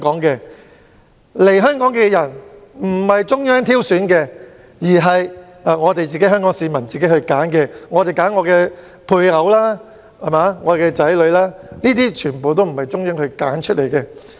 所以，來港的人不是由中央挑選，而是香港市民自行選擇的配偶和他們的子女，這些全部不是由中央揀選的。